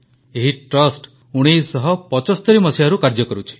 ଏହି ଟ୍ରଷ୍ଟ 1975 ମସିହାରୁ କାର୍ଯ୍ୟ କରୁଛି